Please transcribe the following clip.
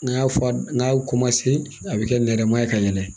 N'a y'a fɔ a n'a ko ma se a bɛ kɛ nɛrɛma ye ka yɛlɛ